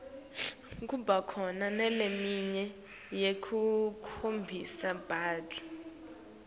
kuba khona naleminye yekuklomelisa badlali